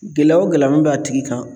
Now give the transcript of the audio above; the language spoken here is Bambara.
Gɛlɛya o gɛlɛya min b'a tigi kan